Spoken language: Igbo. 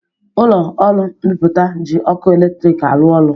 Ụlọ ọrụ mbipụta ji ọkụ eletrik arụ ọrụ